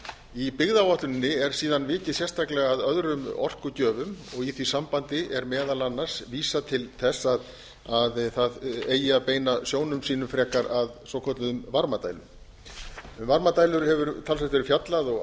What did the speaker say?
í byggðaáætluninni er síðan vikið sérstaklega að öðrum orkugjöfum og í því sambandi er meðal annars vísað til þess að það eigi að beina sjónum sínum frekar að svokölluðum varmadælum um varmadælur hefur talsvert verið fjallað og